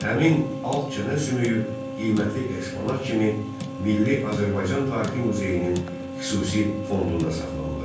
Həmin alt çənə sümüyü qiymətli eksponat kimi Milli Azərbaycan Tarixi Muzeyinin xüsusi fondunda saxlanılır.